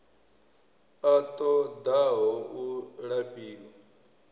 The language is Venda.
a ṱo ḓaho u lafhiwa